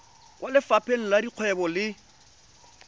kwa lefapheng la dikgwebo le